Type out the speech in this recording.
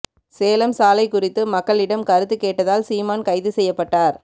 சேலம் சாலை குறித்து மக்களிடம் கருத்து கேட்டதால் சீமான் கைது செய்யப்பட்டார்